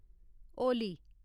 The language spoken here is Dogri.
होली